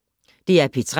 DR P3